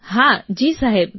હા જી સાહેબ